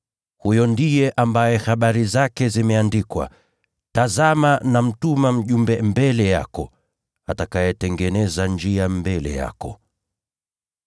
Huyu ndiye ambaye habari zake zimeandikwa: “ ‘Tazama nitamtuma mjumbe wangu mbele yako, atakayetengeneza njia mbele yako.’